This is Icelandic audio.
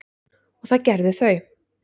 og það gerðu þau.